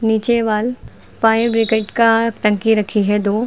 नीचे wall fire brigade का टंकी रखी है दो।